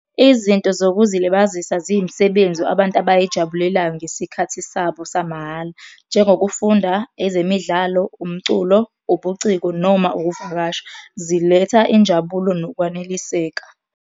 Izinto zokuzilibazisa ziyimisebenzi abantu abayijabulelayo ngesikhathi sabo samahhala, njengokufunda, ezemidlalo, umculo, ubuciko noma ukuvakasha. Ziletha injabulo nokwaneliseka.